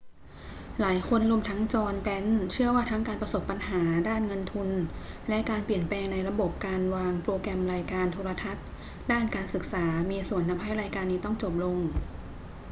หลายคนรวมทั้งจอห์น แกรนท์เชื่อว่าทั้งการประสบปัญหาด้านเงินทุน และการเปลี่ยนแปลงในระบบการวางโปรแกรมรายการโทรทัศน์ด้านการศึกษามีส่วนทำให้รายการนี้ต้องจบลง